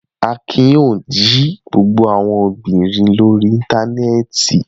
Akin yóò jí gbogbo owó obìnrin yìí lórí Íńtánẹ́ẹ̀tì.